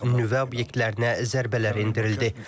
Nüvə obyektlərinə zərbələr endirildi.